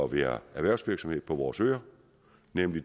være erhvervsvirksomhed på vores øer nemlig